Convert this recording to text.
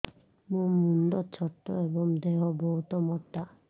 ମୋ ମୁଣ୍ଡ ଛୋଟ ଏଵଂ ଦେହ ବହୁତ ମୋଟା